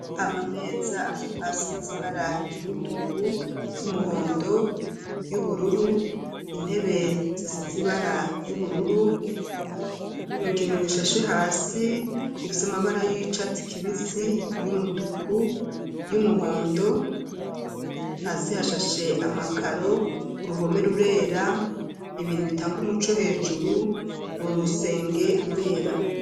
Amameza asize ibara ry'umutuku y'umuhondo y'ubururu intebe zisize ibara ry'ubururu ikintu gishashe hasi gifise amabara y'icatsi kibisi y'umutuku y'umuhondo hasi hashashe amakaro uruhome rurera ibintu bitanga umuco hejuru uru rusenge rurera.